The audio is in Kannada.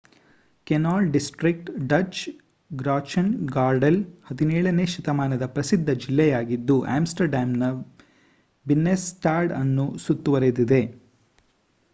ಕೆನಾಲ್ ಡಿಸ್ಟ್ರಿಕ್ಟ್ ಡಚ್: ಗ್ರಾಚ್ಟೆನ್‌ಗಾರ್ಡೆಲ್ 17 ನೇ ಶತಮಾನದ ಪ್ರಸಿದ್ಧ ಜಿಲ್ಲೆಯಾಗಿದ್ದು ಆಮ್‌ಸ್ಟರ್‌ಡ್ಯಾಮ್‌ನ ಬಿನ್ನೆನ್‌ಸ್ಟಾಡ್ ಅನ್ನು ಸುತ್ತುವರೆದಿದೆ